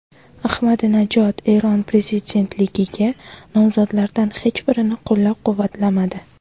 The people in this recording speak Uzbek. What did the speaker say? Ahmadinajod Eron prezidentligiga nomzodlardan hech birini qo‘llab-quvvatlamadi.